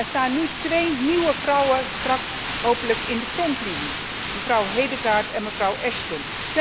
Er staan nu twee nieuwe vrouwen straks hopelijk in de frontlinie mevrouw Hedegaard en mevrouw Ashton.